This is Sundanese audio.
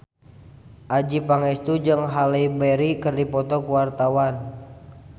Adjie Pangestu jeung Halle Berry keur dipoto ku wartawan